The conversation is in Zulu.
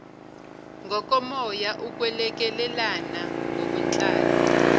ngokomoya ukwelekelelana ngokwenhlalo